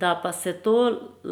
Da pa se to